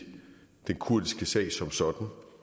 den kurdiske sag som sådan